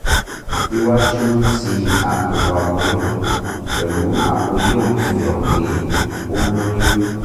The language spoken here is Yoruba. iwaju ti apo aboyun pẹlu apo yolk fihan pe o loyun